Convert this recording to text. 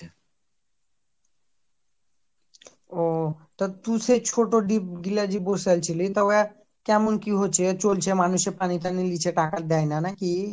ও তা তুই সে ছোট ডিপ গুলা যে বসালছিলি। তো দেখ কেমন কি হৈছে চলছে মানুষ পানি টানি নিচে টাকা দেয়না নাকি ?